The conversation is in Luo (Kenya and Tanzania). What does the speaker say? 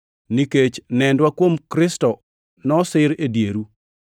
nikech nendwa kuom Kristo nosir e dieru.